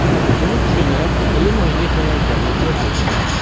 Buni tushunib, qiyin o‘yinga tayyorgarlik ko‘rdik.